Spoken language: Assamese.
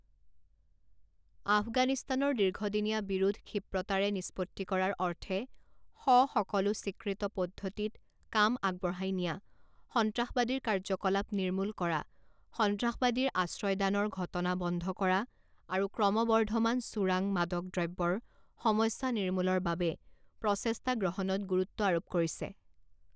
আফগানিস্তানৰ দীৰ্ঘদিনীয়া বিৰোধ ক্ষীপ্ৰতাৰে নিষ্পত্তি কৰাৰ অৰ্থে সসকলো স্বীকৃত পদ্ধতিত কাম আগবঢ়াই নিয়া, সন্ত্ৰাসবাদীৰ কাৰ্যকলাপ নিৰ্মূল কৰা, সন্ত্ৰাসবাদীৰ আশ্ৰয়দানৰ ঘটনা বন্ধ কৰা আৰু ক্ৰমৱৰ্ধমান চোৰাং মাদক দ্ৰব্যৰ সমস্যা নিৰ্মূলৰ বাবে প্ৰচেষ্টা গ্ৰহণত গুৰুত্ব আৰোপ কৰিছে।